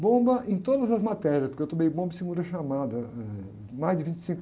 Bomba em todas as matérias, né? Porque eu tomei bomba em segura chamada, mais de vinte e cinco